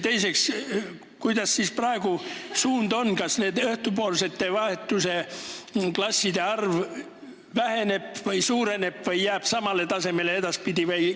Teiseks, kuidas siis praegu suund on, kas õhtupoolse vahetuse klasside arv väheneb või suureneb või jääb edaspidi samale tasemele?